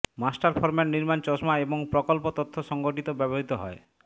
master format নির্মাণ চশমা এবং প্রকল্প তথ্য সংগঠিত ব্যবহৃত হয়